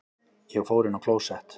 Ég fór inn á klósett.